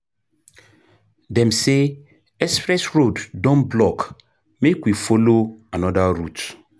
Dem say express road don block, make we folo another route.